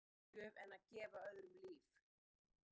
Er til betri gjöf en að gefa öðrum líf?